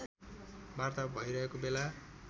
वार्ता भइरहेको बेला